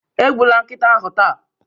Egbula nkịta ahụ taa